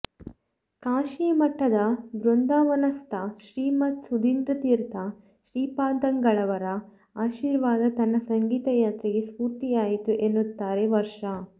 ಕಾಶೀ ಮಠದ ವೃಂದಾವನಸ್ಥ ಶ್ರೀಮತ್ ಸುಧೀಂದ್ರತೀರ್ಥ ಶ್ರೀಪಾದಂಗಳವರ ಆಶೀರ್ವಾದ ತನ್ನ ಸಂಗೀತ ಯಾತ್ರೆಗೆ ಸ್ಫೂರ್ತಿಯಾಯಿತು ಎನ್ನುತ್ತಾರೆ ವರ್ಷಾ